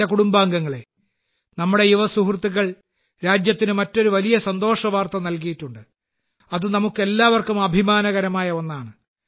എന്റെ കുടുംബാംഗങ്ങളേ നമ്മുടെ യുവസുഹൃത്തുക്കൾ രാജ്യത്തിന് മറ്റൊരു വലിയ സന്തോഷവാർത്ത നൽകിയിട്ടുണ്ട് അത് നമുക്കെല്ലാവർക്കും അഭിമാനകരമായ ഒന്നാണ്